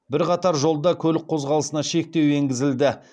бірқатар жолда көлік қозғалысына шектеу енгізілді